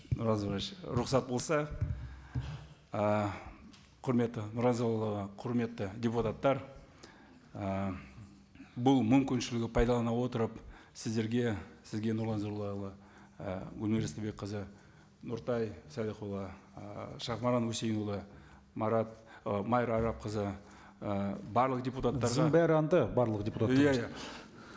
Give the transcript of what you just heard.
нұрлан зайроллаевич рұқсат болса ііі құрметті нұразиұлы құрметті депутаттар ііі бұл мүмкіншілігі пайдалана отырып сіздерге сізге нұрлан зайроллаұлы і гүлмира истайбекқызы нұртай салихұлы ііі шахмаран хуссейнұлы і майра арапқызы і барлық